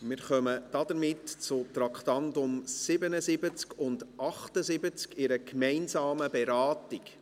Wir kommen damit zu den Traktanden 77 und 78 in einer gemeinsamen Beratung.